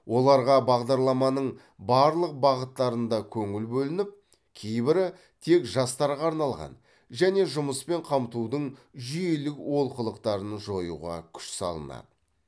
оларға бағдарламаның барлық бағыттарында көңіл бөлініп кейбірі тек жастарға арналған және жұмыспен қамтудың жүйелік олқылықтарын жоюға күш салынады